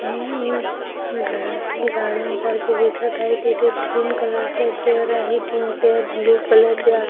हे एक घरातले गार्डन सारखे दिसत आहे तिथे ग्रीन कलर चे चेअर आहेतीन चेअर ब्ल्यु कलर चे आहे.